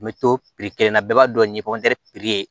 N bɛ to kelen na bɛɛ b'a dɔn ni ye